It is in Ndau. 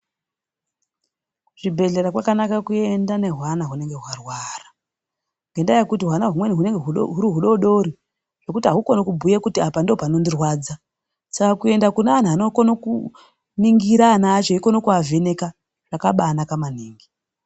Kuzvibhedhlera kwakanaka kuenda nehwana hunenge hwarwara. Ngendaa yekuti hwana humweni hunenge huri hudodori ngekuti haukoni kubhuye kuti apa ndipo panondirwadza. Saka kuenda kuna antu anokona kuningira ana acho, eikone kuavheneka zvakabaanaka maningi .